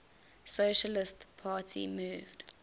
socialist party moved